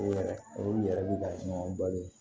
O yɛrɛ o yɛrɛ bi ka sɔngɔn balo